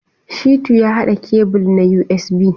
Shitu ya haɗa kebul na USB.